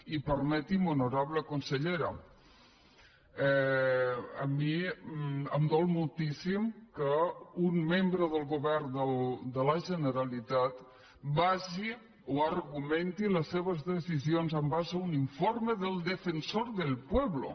i permeti’m honorable consellera a mi em dol moltíssim que un membre del govern de la generalitat basi o argumenti les seves decisions en base a un infor me del defensor del pueblo